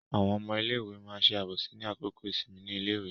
Àwọn ọmọ iléèwé ma ṣe àbòsí ní àkókò ìsinmi ní iléèwé.